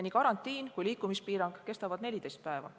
Nii karantiin kui ka liikumispiirang kestavad 14 päeva.